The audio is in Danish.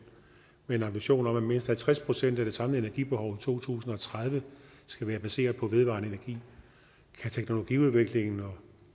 med en ambition om at mindst halvtreds procent af det samlede energibehov i to tusind og tredive skal være baseret på vedvarende energi kan teknologiudviklingen og